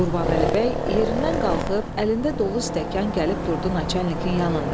Qurbanəli bəy yerindən qalxıb əlində dolu stəkan gəlib durdu naçalnikin yanında.